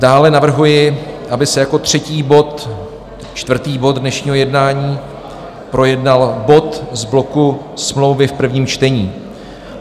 Dále navrhuji, aby se jako třetí bod, čtvrtý bod dnešního jednání projednal bod z bloku smlouvy v prvním čtení.